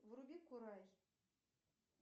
вруби курай